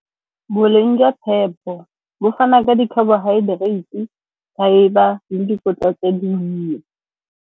Boleng jwa phepo bo fa na ka di-carbohydrates, fibre le dikotla tse dinnye.